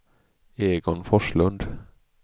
Egon Forslund